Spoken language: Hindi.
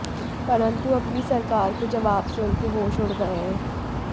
परन्तु अपनी ही सरकार के जवाब से उनके होश उड़ गए है